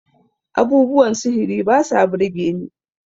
abubuwan sihiri ba sa birgeni